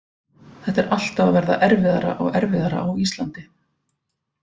Þetta er alltaf að verða erfiðara og erfiðara á Íslandi.